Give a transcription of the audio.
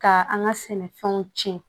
Ka an ka sɛnɛfɛnw tiɲɛ